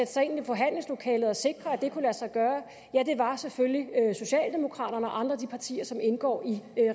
sig ind i forhandlingslokalet og sikre at det kunne lade sig gøre ja det var selvfølgelig socialdemokraterne og andre af de partier som indgår i